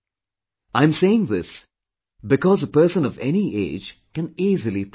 I am saying this because a person of any age can easily practise it